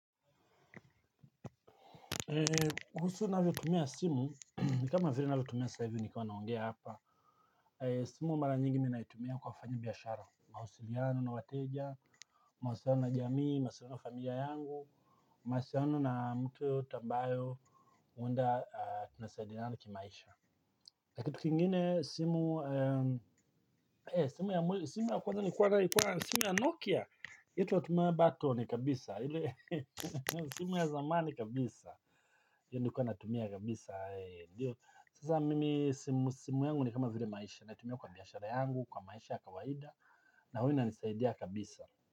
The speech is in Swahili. Simu mara nyingi ninaitumia kwa kufanya biashara. Mawasiliano na wateja. Mawasiliano na jamii. Mawasiliano na familia yangu. Mawasiliano na mtu yeyote ambayo unda tunasaidiyana kimaisha. Na kitu kingine simu. Simu ya kwanza nikwana. Simu ya Nokia Ito watumia batoni kabisa. Simu ya zamani kabisa. Nikuwa natumia kabisa. Sasa mimi simu yangu ni kama vile maisha natumia kwa biashara yangu, kwa maisha ya kawaida na huwa inanisaidia kabisa.